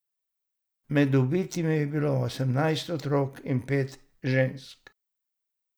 Med ubitimi je bilo osemnajst otrok in pet žensk.